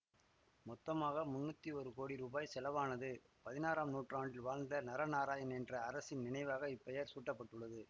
மொத்தமாக முன்னூத்தி ஒரு கோடி ரூபாய் செலவானது பதினாறாம் நூற்றாண்டில் வாழ்ந்த நரநாராயண் என்ற அரசரின் நினைவாக இப்பெயர் சூட்டப்பட்டது